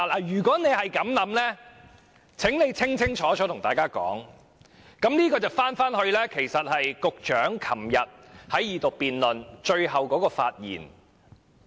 如果他們是這樣想，請清楚告訴大家，這樣我們便回到局長昨天在恢復二讀辯論最後的發言。